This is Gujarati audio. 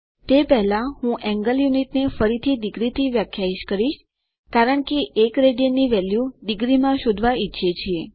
તે પહેલાં હું કોણ એકમો ને ફરીથી ડિગ્રી માટે વ્યાખ્યાયિત કરીશ કારણ કે આપણે 1 રાડ ની વેલ્યુ ડીગ્રીમાં શોધવા ઈચ્છીએ છીએ